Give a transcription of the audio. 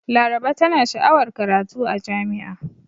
Laraba tana sha'awar karatu a jami'a.